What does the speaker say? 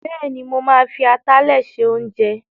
Bẹ́ẹ̀ni, mo ma fi atalẹ̀ se oúnjẹ